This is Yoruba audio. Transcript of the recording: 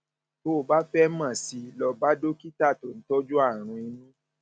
tó o bá fẹ mọ sí i lọ bá dókítà tó ń tọjú àrùn inú